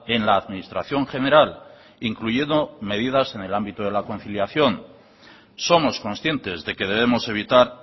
en la administración general incluyendo medidas en el ámbito de la conciliación somos conscientes de que debemos evitar